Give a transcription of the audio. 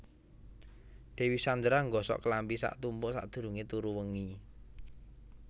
Dewi Sandra nggosok klambi sak tumpuk sakdurunge turu wengi